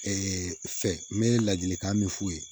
fɛ n bɛ ladilikan min f'u ye